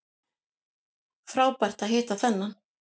Frábært að hitta þennan